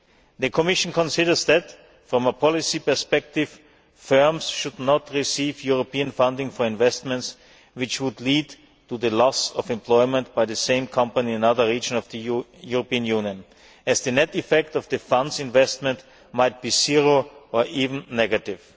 The Commission considers that, from a policy perspective, firms should not receive European funding for investments which would lead to the loss of employment by the same company in another region of the European Union, because the net effect of the ESF investment might be zero or even negative.